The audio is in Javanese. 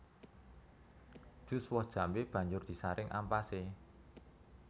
Jus woh jambé banjur disaring ampasé